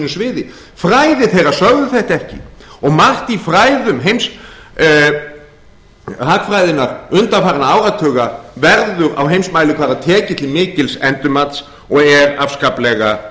sviði fræði þeirra sögðu þetta ekki og margt í fræðum hagfræðinnar undanfarinna áratuga verður á heimsmælikvarða tekið til mikils endurmats og er afskaplega